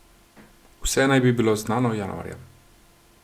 Vse naj bi bilo znano januarja.